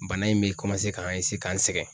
Bana in bɛ k'an k'an sɛgɛn.